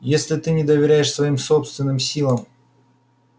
если ты не доверяешь своим собственным силам